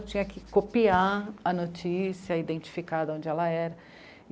Eu tinha que copiar a notícia, identificar de onde ela era.